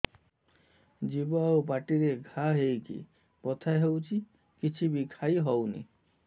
ଜିଭ ଆଉ ପାଟିରେ ଘା ହେଇକି ବଥା ହେଉଛି କିଛି ବି ଖାଇହଉନି